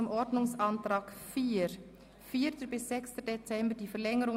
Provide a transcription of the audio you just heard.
Rat in Erfüllung der Motionen 076-2010 Gesissbühler-Strupler und 101-2010 Löffel-Wenger)